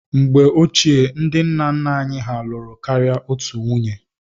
Mgbe ochie, ndị nna nna anyị hà lụrụ karịa otù nwunye.